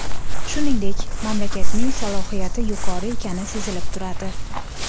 Shuningdek, mamlakatning salohiyati yuqori ekani sezilib turadi.